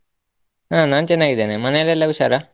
ಹ ನಾನ್ ಚನ್ನಾಗಿದ್ದೇನೆ, ಮನೆಯಲ್ಲೆಲ್ಲ ಹುಷಾರ?